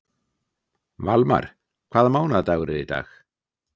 Valmar, hvaða mánaðardagur er í dag?